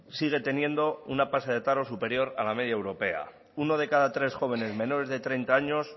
sigue teniendo una tasa de paro superior a la media europea uno de cada tres jóvenes menores de treinta años